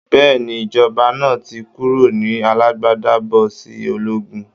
Bẹ́ẹ̀ni, ìjọba náà ti kúrò ní alágbádá bọ́ sí ológun